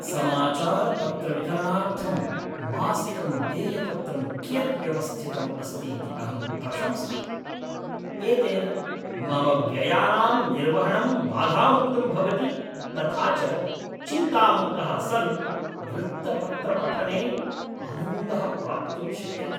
समाचारपत्रवितरणार्थं मासिकं देयपत्रं कियत् व्यवस्थितम् अस्ति इति अहं प्रशंसामि, एतेन मम व्ययानां निर्वहणं बाधामुक्तं भवति तथा च चिन्तामुक्तः सन् वृत्तपत्रपठने आनन्दः प्राप्तुं शक्यते।